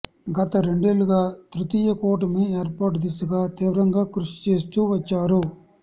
గత రెండేళ్ళుగా తృతీయ కూటమి ఏర్పాటు దిశగా తీవ్రంగా కృషిచేస్తూ వచ్చారు